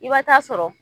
I bɛ taa sɔrɔ